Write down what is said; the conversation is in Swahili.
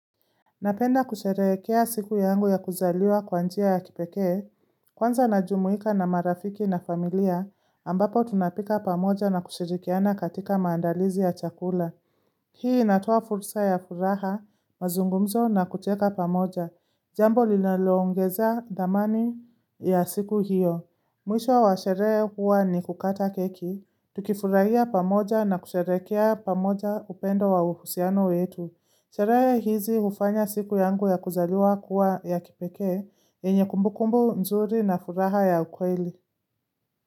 Napenda kusherehekea siku yangu ya kuzaliwa kwa njia ya kipekee, kwanza najumuika na marafiki na familia ambapo tunapika pamoja na kushirikiana katika maandalizi ya chakula. Hii inatoa fursa ya furaha, mazungumzo na kucheka pamoja. Jambo linaloongezea damani ya siku hiyo. Mwisho wa sherehe huwa ni kukata keki, tukifurahia pamoja na kusherehekea pamoja upendo wa uhusiano wetu. Sherehe hizi hufanya siku yangu ya kuzaliwa kuwa ya kipeke, yenye kumbukumbu mzuri na furaha ya ukweli.